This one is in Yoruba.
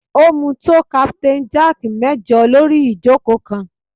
Ó mu tó Captain Jack mẹ́jọ lórí ìjókòó kan